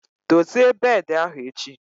Dozie beedi ahụ echi!